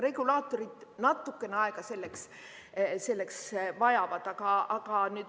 Regulaatorid vajavad selleks natukene aega.